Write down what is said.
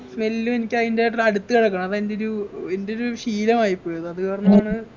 smell ഉം എനിക്ക് അയിൻ്റെ ട്ര അടുത്ത് കിടക്കണം അത് അൻ്റെ ഒരു എൻ്റെ ഒരു ശീലമായിപ്പോയി അതുകാരണമാണ്